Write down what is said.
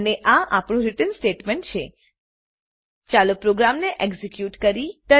અને આ આપણું રીટર્ન સ્ટેટમેંટ છે ચાલો પ્રોગ્રામને એક્ઝીક્યુટ કરીએ